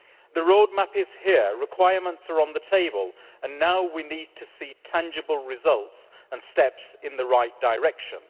The roadmap is here, requirements are on the table, and now we need to see tangible results and steps in the right direction.